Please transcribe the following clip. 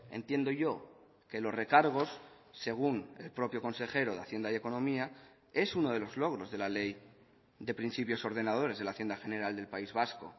entiendo yo que los recargos según el propio consejero de hacienda y economía es uno de los logros de la ley de principios ordenadores de la hacienda general del país vasco